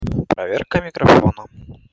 проверка микрофона